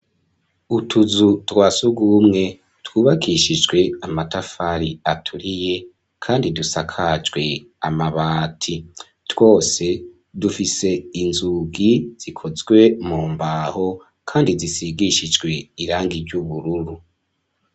Utuzu twa surwumwe twubakishijwe amatafari aturiye kandi dusakajwe amabati. Twose dufise inzugi zikozwe mu mbaho kandi zisigishijwe irangi ry'ubururu.